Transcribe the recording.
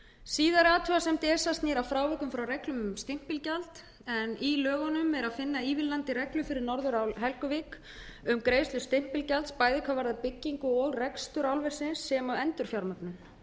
síðari athugasemd esa snýr að frávikum frá reglum um stimpilgjald í lögunum er að finna ívilnandi reglur fyrir norðurál helguvík um greiðslu stimpilgjalds bæði hvað varðar byggingu og rekstur álversins sem og endurfjármögnun